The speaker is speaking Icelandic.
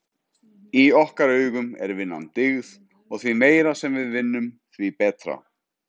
Í okkar augum er vinnan dyggð og því meira sem við vinnum, því betra.